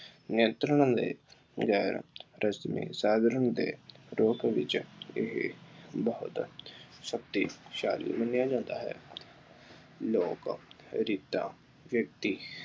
ਨਿਯੰਤਰਣ ਦੇ ਗੈਰ ਰਸਮੀ ਸਾਧਨ ਹੁੰਦੇ, ਲੋਕ ਵਿੱਚ ਇਹ ਬਹੁਤ ਸ਼ਕਤੀਸ਼ਾਲੀ ਮੰਨਿਆ ਜਾਂਦਾ ਹੈ। ਲੋਕ ਰੀਤਾਂ ਵਿਅਕਤੀ